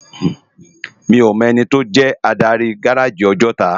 Mi ó mò èniti ó jè ádári gáráji Òjòtá